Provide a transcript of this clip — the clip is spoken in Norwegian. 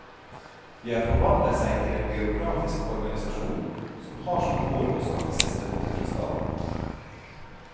De har forvandlet seg til en byråkratisk organisasjon, som har som mål å skaffe seg støtte fra staten.